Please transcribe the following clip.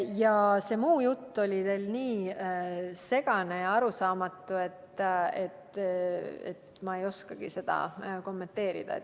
Aga see muu jutt oli teil nii segane ja arusaamatu, et ma ei oskagi seda kommenteerida.